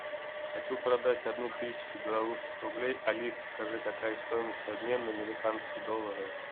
хочу продать одну тысячу белорусских рублей алиса скажи какая стоимость обмена на американские доллары